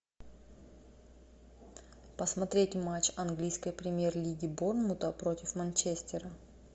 посмотреть матч английской премьер лиги борнмута против манчестера